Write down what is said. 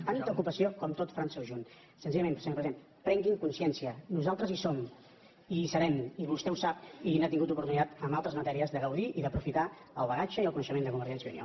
tanta ocupació com tot frança junt senzillament senyor president prengui’n consciència nosaltres hi som i hi serem i vostè ho sap i ha tingut oportunitat en altres matèries de gaudir i d’aprofitar el bagatge i el coneixement de convergència i unió